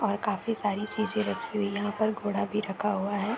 और काफी सारी चीजें रखी हुई यहाँ पर घोड़ा भी रखा हुआ हैं।